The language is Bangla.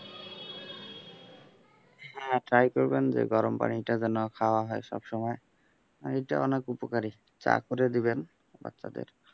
হ্যাঁ try করবেন যে গরম পানিটা যেন খাওয়া হয় সবসময়, এইটা অনেক উপকারী চা করে দিবেন বাচ্চাদের।